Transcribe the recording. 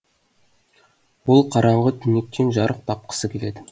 ол қараңғы түнектен жарық тапқысы келеді